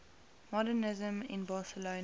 modernisme in barcelona